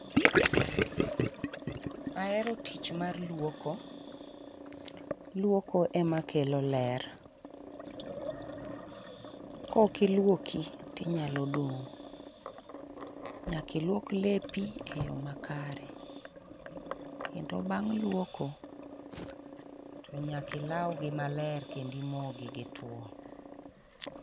Ahero tich mar luoko, luoko emakelo ler. Kokiluoki tinyalo dong', k=nyakiluok lepi e yo makare. Kendo bang' luoko, to nyakilawgi maler kednimogi gitwo.